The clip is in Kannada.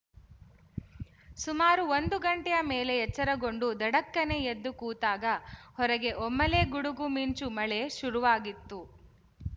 ಸುಮಾರು ಒಂದು ಗಂಟೆಯ ಮೇಲೆ ಎಚ್ಚರಗೊಂಡು ಧಡಕ್ಕನೆ ಎದ್ದು ಕೂತಾಗ ಹೊರಗೆ ಒಮ್ಮೆಲೇ ಗುಡುಗುಮಿಂಚುಮಳೆ ಶುರುವಾಗಿತ್ತು